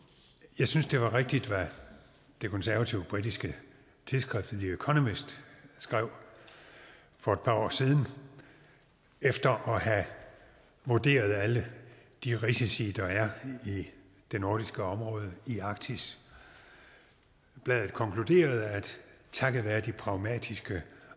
jeg synes det var rigtigt hvad det konservative britiske tidsskrift the economist skrev for par år siden efter at have vurderet alle de risici der er i det nordiske område i arktis bladet konkluderede at takket være de pragmatiske